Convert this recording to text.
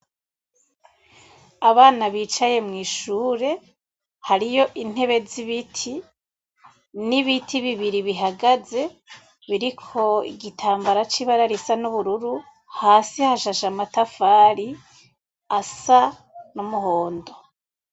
Abana bicaye mw'ishure, hariyo intebe z'ibiti, n'ibiti bibiri bihagaze biriko igitambara c'ibara risa n'ubururu. Hasi hashashe amatafari asa n'umuhondo.